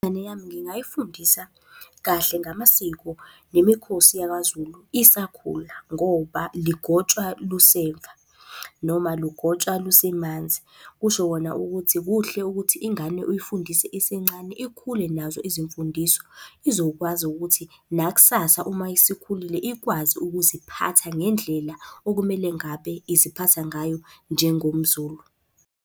Ingane yami ngingayifundisa kahle ngamasiko nemikhosi yakwaZulu isakhula, ngoba lugotshwa luseva, noma lugotshwa lusemanzi. Kusho kona ukuthi kuhle ukuthi ingane uyifundise isencane ikhule nazo izimfundiso. Izokwazi ukuthi nakusasa uma isikhulile ikwazi ukuziphatha ngendlela okumele ngabe iziphatha ngayo njengomZulu.